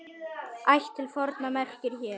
Ætt til forna merkir hér.